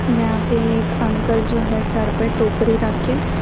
यहां पे एक अंकल जो है सर पे टोकरी रख के--